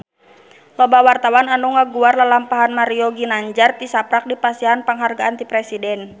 Loba wartawan anu ngaguar lalampahan Mario Ginanjar tisaprak dipasihan panghargaan ti Presiden